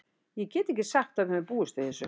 Ég get ekki sagt að við höfum búist við þessu.